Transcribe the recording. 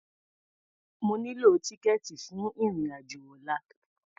Mo nílò tíkẹ̀ẹ̀tì fún ìrìn-àjò ọlla.